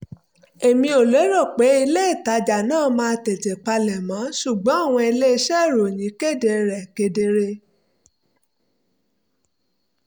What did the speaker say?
èmi ò lérò pé ilé-ìtajà náà máa tètè palẹ̀mọ́ ṣùgbọ́n àwọn ilé-iṣẹ́ ìròyìn kéde rẹ̀ kedere